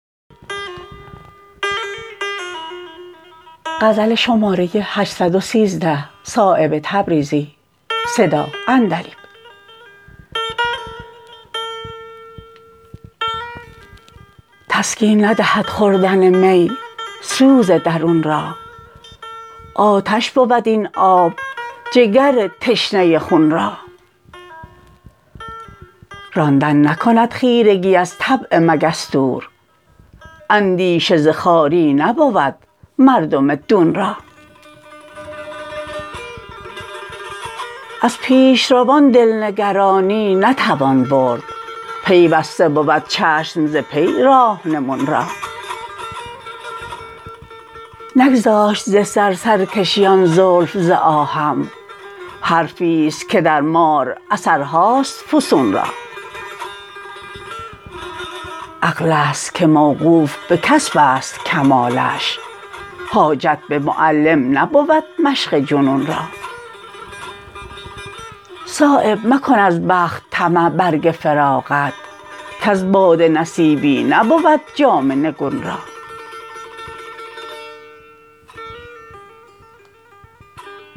تسکین ندهد خوردن می سوز درون را آتش بود این آب جگر تشنه خون را راندن نکند خیرگی از طبع مگس دور اندیشه ز خواری نبود مرد دون را از پیشروان دل نگرانی نتوان برد پیوسته بود چشم ز پی راهنمون را نگذاشت ز سر سرکشی آن زلف ز آهم حرفی است که در مار اثرهاست فسون را عقل است که موقوف به کسب است کمالش حاجت به معلم نبود مشق جنون را صایب مکن از بخت طمع برگ فراغت کز باده نصیبی نبود جام نگون را